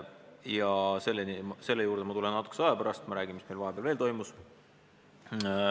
Ma tulen selle juurde natukese aja pärast tagasi, aga enne räägin, mis meil vahepeal veel toimus.